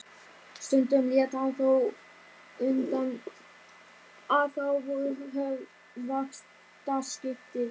Stundum lét hann þó undan og þá voru höfð vaktaskipti.